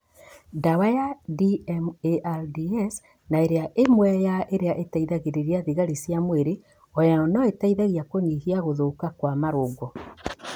Ndawa ya DMARDS na ĩrĩa nĩ ĩmwe ya irĩa iteithagĩrĩria thigari cia mwĩrĩ onayo noĩteithie kũnyihia gũthũka kwa marũngo